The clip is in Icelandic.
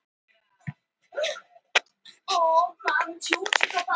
Hann var ógiftur og enginn úr hirðinni nema ritari hans var viðstaddur jarðarförina.